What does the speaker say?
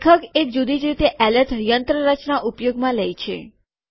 લેખક એક જુદી જ એલર્ટ યંત્રરચના ઉપયોગમાં લે છે